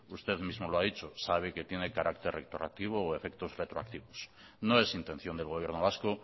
usted mismo lo ha dicho sabe que tiene carácter retroactivo o efectos retroactivos no es intención del gobierno vasco